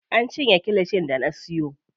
An cinye kilishin da na siyo.